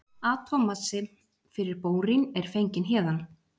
atómmassi fyrir bórín er fenginn héðan